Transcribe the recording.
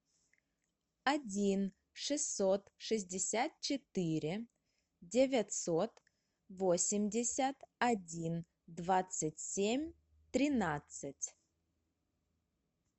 один шестьсот шестьдесят четыре девятьсот восемьдесят один двадцать семь тринадцать